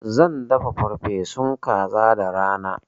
Zan dafa farfesun kaza da rana.